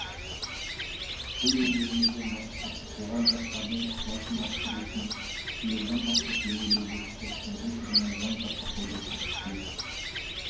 төл өнерімізді насихаттап оған жастардың ықыласын арттыру үшін биылдан бастап өңірлерде спорттың бұл түріне жан жақты қолдау көрсетіледі